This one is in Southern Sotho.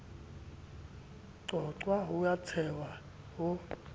qoqwa ho a tshehwa ho